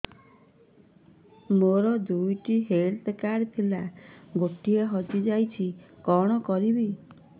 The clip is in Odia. ମୋର ଦୁଇଟି ହେଲ୍ଥ କାର୍ଡ ଥିଲା ଗୋଟିଏ ହଜି ଯାଇଛି କଣ କରିବି